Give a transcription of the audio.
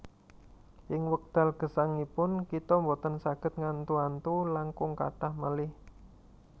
Ing wekdal gesangipun kita boten saged ngantu antu langkung kathah malih